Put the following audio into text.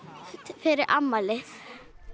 fyrir afmælið